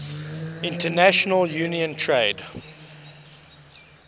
international trade union